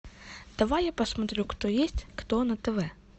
давай я посмотрю кто есть кто на тв